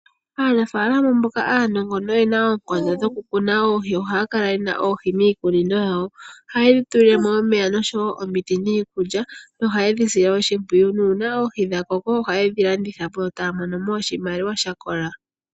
Aanafaalama mboka aanongo noye na oonkondo dhokukuna oohi nohaya kala ye na oohi miikunino yawo. Ohaye dhi tulile mo omiti niikulya nohaye dhi sile oshimpwiyu. Uuna oohi dha koko ohaye dhi landitha po yo taya mono mo oshimaliwa sha kola.